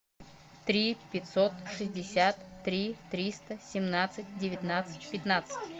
три пятьсот шестьдесят три триста семнадцать девятнадцать пятнадцать